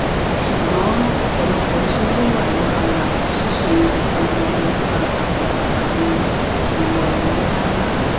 ṣugbọn ọpọlọpọ iṣẹ ni o wa labala ṣiṣe ipolongo nipa awọn anfaani imọ ẹrọ nlanla